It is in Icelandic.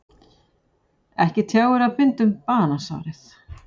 Ekki tjáir að binda um banasárið.